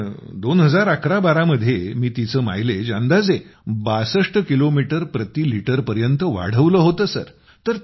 साधारण 201112 मध्ये मी तिचे मायलेज अंदाजे 62 किलोमीटर प्रतिलिटर पर्यंत वाढवलं होतं